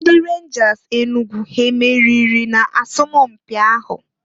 Ndi Renjas Enugu e meriri na asọmụ mpị ahụ?